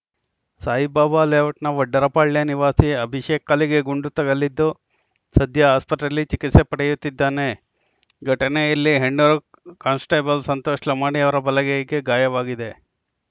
ಸಾಯಿಬಾಬಾ ಲೇಔಟ್‌ನ ವಡ್ಡರಪಾಳ್ಯ ನಿವಾಸಿ ಅಭಿಷೇಕ್‌ ಕಾಲಿಗೆ ಗುಂಡು ತಗುಲಿದ್ದು ಸದ್ಯ ಆಸ್ಪತ್ರೆಯಲ್ಲಿ ಚಿಕಿತ್ಸೆ ಪಡೆಯುತ್ತಿದ್ದಾನೆ ಘಟನೆಯಲ್ಲಿ ಹೆಣ್ಣೂರು ಕಾನ್ಸ್‌ಟೇಬಲ್‌ ಸಂತೋಷ್‌ ಲಮಾಣಿ ಅವರ ಬಲಗೈಗೆ ಗಾಯವಾಗಿದೆ